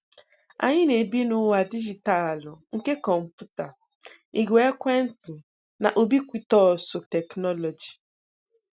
Anyị na-ebi n'ụwa dijitalụ nke kọmputa, igwe ekwentị na Ubiquitousu tekinoloji.